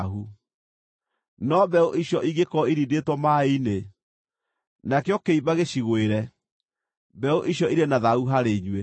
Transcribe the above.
No mbeũ icio ingĩkorwo irindĩtwo maaĩ-inĩ, nakĩo kĩimba gĩcigũĩre, mbeũ icio irĩ na thaahu harĩ inyuĩ.